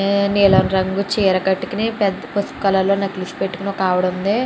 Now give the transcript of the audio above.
నీలం రంగు చీర కట్టుకుని పసుపు రంగులో నెక్లెస్ పెట్టుకుని ఒక ఆవిడా ఉంది.